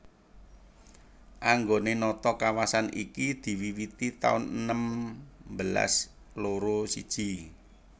Anggone nata kawasan iki diwiwiti taun enem belas loro siji